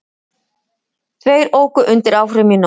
Tveir óku undir áhrifum í nótt